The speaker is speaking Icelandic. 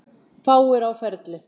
Fáir á ferli.